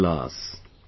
...